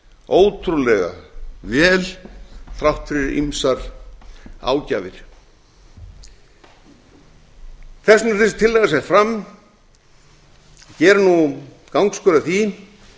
ótrúlega vel þrátt fyrir ýmsar ágjafir þess vegna er þessi tillaga sett fram gerum nú gangskör að því